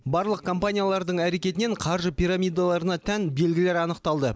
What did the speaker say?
барлық компаниялардың әрекетінен қаржы пирамидаларына тән белгілер анықталды